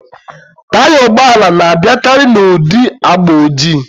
Taya ụgbọala na-abịakari n'ụdị agba ojii